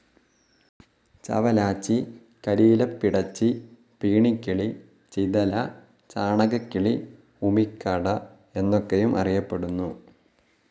ചവലാച്ചി, കരിയിലപ്പിടച്ചി, പീണിക്കിളി, ചിതല, ചാണകക്കിളി, ഉമിക്കാട എന്നൊക്കെയും അറിയപ്പെടുന്നു.